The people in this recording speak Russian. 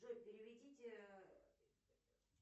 джой переведите